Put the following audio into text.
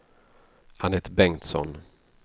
Annette Bengtsson